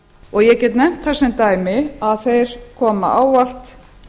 og ég get nefnt það sem dæmi að þeir koma ávallt